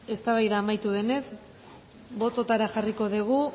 eztabaida amaitu denez botoetara jarriko degu